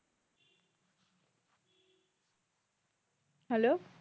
hello